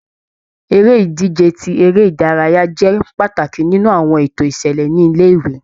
Eré -ìdíje tí eré ìdárayá jẹ́ pàtàkì nínú àwọn ètò ìṣẹ̀lẹ̀ ni ilé-ìwé.